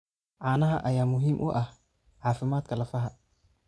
Caanaha ayaa muhiim u ah caafimaadka lafaha.